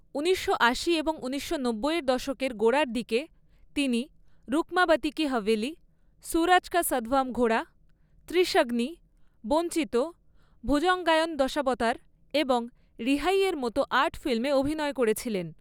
ঊনিশশো আশি এবং ঊনিশশো নব্বইয়ের দশকের গোড়ার দিকে তিনি রুকমাবতী কি হাভেলি, সুরজ কা সাতভান ঘোড়া, ত্রিশগ্নি, বঞ্চিত, ভুজঙ্গায়ন দশাবতার এবং রিহাইয়ের মতো আর্ট ফিল্মে অভিনয় করেছিলেন।